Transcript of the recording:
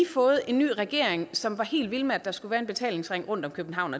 fået en ny regering som var helt vild med at der skulle være en betalingsring rundt om københavn